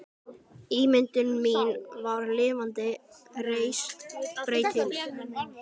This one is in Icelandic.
Ímyndun mín var lifandi, reist, breytileg.